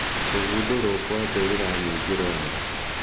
Kũgundũrũo kwa Mbĩrĩra Nyingĩ Rwanda